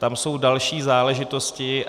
Tam jsou další záležitosti.